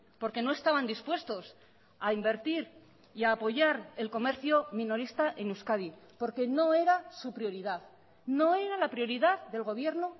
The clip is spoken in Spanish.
porque no estaban dispuestos a invertir y a apoyar el comercio minorista en euskadi porque no era su prioridad no era la prioridad del gobierno